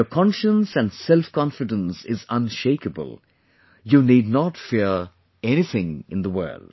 If your conscience and self confidence is unshakeable, you need not fear anything in the world